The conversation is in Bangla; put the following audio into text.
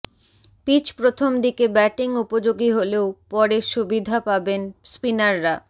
পিচ প্রথম দিকে ব্যাটিং উপযোগী হলেও পরে সুবিধা পাবেন স্পিনাররা